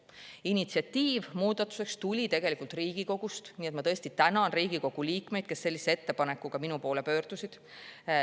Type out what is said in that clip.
Muudatuse tegemise initsiatiiv tuli tegelikult Riigikogust, nii et ma tõesti tänan Riigikogu liikmeid, kes sellise ettepanekuga minu poole pöördusid.